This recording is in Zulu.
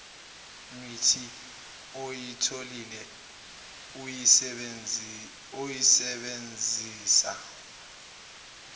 mithi oyitholile uyisebenzisa